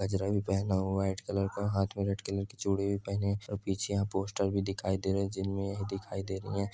गजरा भी पहना हुआ है व्हाइट कलर का हाथ में रेड कलर कि चूड़ी भी पहनी हैं पीछे यहाँ पोस्टर भी दिखाई दे रहे हैं जिनमें यह दिखाई दे--